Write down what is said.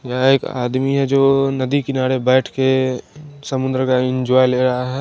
यहाँ एक आदमी है जो नदी किनारे बैठ के समुंद्र का इंजॉय ले रहा है।